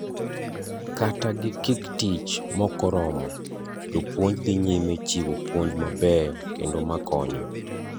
Kata gi giktich mokoromo, jopuonj dhi nyime chiwo puonj mabeyo kendo makonyo